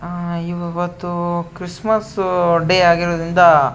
ಆಹ್ಹ್ ಇವತ್ತು Christmas day ಆಗಿರುವುದ್ರಿಂದ --